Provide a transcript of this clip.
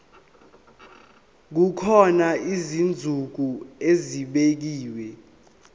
kukhona izinsuku ezibekiwe